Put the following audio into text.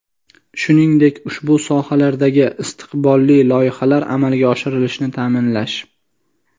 shuningdek ushbu sohalardagi istiqbolli loyihalar amalga oshirilishini ta’minlash;.